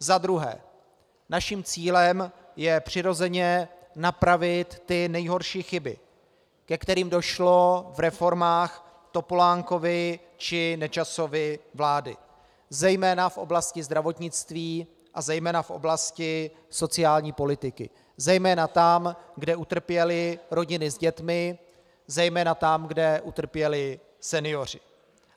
Za druhé, naším cílem je přirozeně napravit ty nejhorší chyby, ke kterým došlo v reformách Topolánkovy či Nečasovy vlády zejména v oblasti zdravotnictví a zejména v oblasti sociální politiky, zejména tam, kde utrpěly rodiny s dětmi, zejména tam, kde utrpěli senioři.